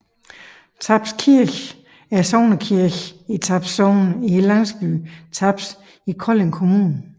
Taps Kirke er sognekirke i Taps Sogn i landsbyen Taps i Kolding Kommune